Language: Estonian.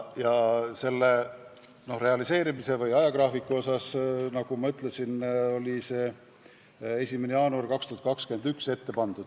Mis puutub ajagraafikusse, siis, nagu ma ütlesin, jõustumisajaks on ette pandud 1. jaanuar 2021.